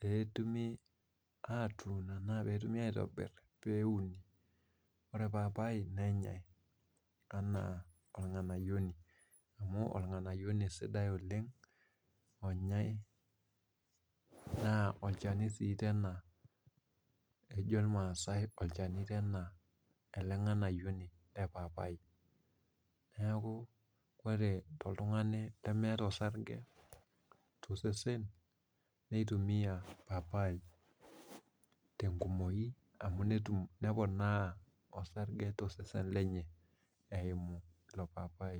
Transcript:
pee etumi aitobir pe euni .ore paipai nenyae amu organayioni ,organayioni sidai oleng onyae naa olchani sii tena ,ejo irmaasai olchani ele nganayioni lepaipai ,neeku Kore toltungani lemeeta orsarge tosesen neitumiya paipai tenkumoki amu neponaa orsarge tosesen lenye eimu ilo paipai.